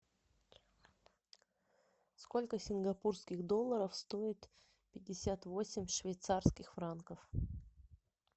сколько сингапурских долларов стоит пятьдесят восемь швейцарских франков